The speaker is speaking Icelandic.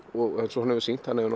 eins og hann hefur sýnt hann hefur